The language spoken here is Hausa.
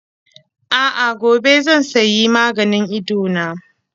A'a, gobe zan sayi maganin Idona.